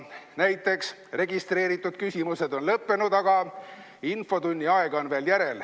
Näiteks: "Registreeritud küsimused on lõppenud, aga infotunni aega on veel järel.